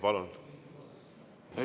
Palun!